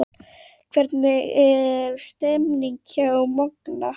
Hvernig er stemningin hjá Magna?